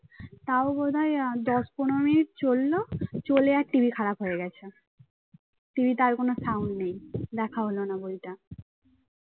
তাও বোধহয় দশ পনেরো মিনিট চলল চলে আর TV খারাপ হয়ে গেছে। TV তে আর কোন sound নেই। দেখা হলো না বইটা